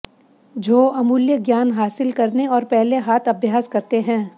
झो अमूल्य ज्ञान हासिल करने और पहले हाथ अभ्यास करते हैं